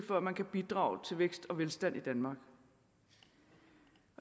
før man kan bidrage til vækst og velstand i danmark